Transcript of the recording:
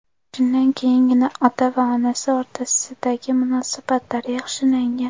Shundan keyingina ota va onasi o‘rtasidagi munosabatlar yaxshilangan.